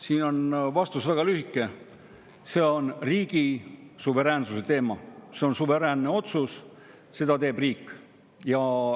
Siin on vastus väga lühike: see on riigi suveräänsuse teema, see on suveräänne otsus, seda teeb riik.